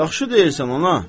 Yaxşı deyirsən ana.